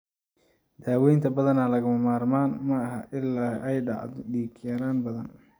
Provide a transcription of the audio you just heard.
Daawaynta badanaa lagama maarmaan ma aha ilaa ay dhacdo dhiig-yaraan daran.